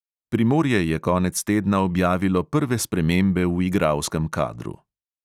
Primorje je konec tedna objavilo prve spremembe v igralskem kadru.